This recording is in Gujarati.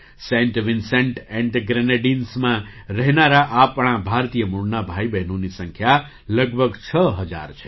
સેન્ટ વિન્સેન્ટ ઍન્ડ ધ ગ્રેનેડિન્સમાં રહેનારા આપણા ભારતીય મૂળનાં ભાઈબહેનોની સંખ્યા લગભગ છ હજાર છે